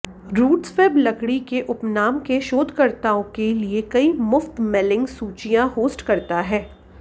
RootsWeb लकड़ी के उपनाम के शोधकर्ताओं के लिए कई मुफ्त मेलिंग सूचियां होस्ट करता है